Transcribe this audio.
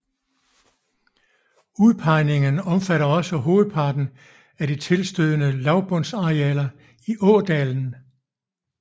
Udpegningen omfatter også hovedparten af de tilstødende lavbundsarealer i ådalen